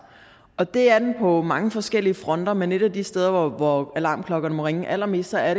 det er den på mange forskellige fronter men et af de steder hvor alarmklokkerne må ringe allermest er